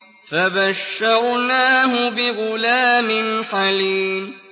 فَبَشَّرْنَاهُ بِغُلَامٍ حَلِيمٍ